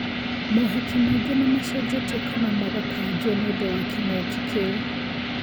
Mohiki maingĩ nĩmacenjetio kana magakanjwo nĩũndũ wa kĩng'ũki kĩu